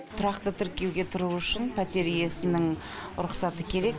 тұрақты тіркеуге тұру үшін пәтер иесінің рұқсаты керек